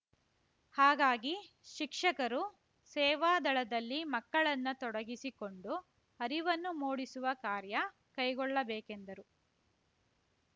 ಹಾಗಾಗಿ ಶಿಕ್ಷಕರು ಸೇವಾ ದಳದಲ್ಲಿ ಮಕ್ಕಳನ್ನ ತೊಡಗಿಸಿಕೊಂಡು ಅರಿವನ್ನು ಮೂಡಿಸುವ ಕಾರ್ಯ ಕೈಗೊಳ್ಳಬೇಕೆಂದರು